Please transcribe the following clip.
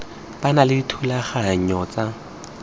ba na le dithulaganyo tsa